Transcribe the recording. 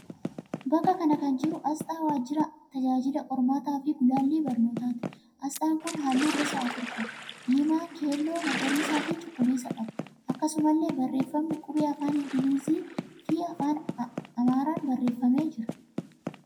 Bakka kana kan jiru asxaa waajjira tajaajila qormaataa fi gulaallii barnootaati. Asxaan kun halluu gosa afur: diimaa, keelloo, magariisa fi cuquliisa qaba. Akkasumallee barreeffamni qubee afaan Ingilizii fi Amaaraan barreeffamee jira.